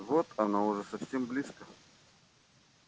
вот оно уже совсем близко